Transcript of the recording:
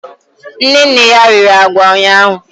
Nne nne ya riri agwa ụnyahụ